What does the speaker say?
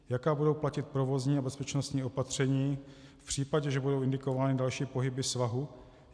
Jaká budou platit provozní a bezpečnostní opatření v případě, že budou indikovány další pohyby svahu?